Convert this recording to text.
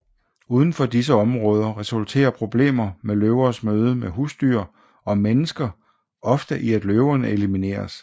Uden for disse områder resulterer problemer med løvers møde med husdyr og mennesker ofte i at løverne elimineres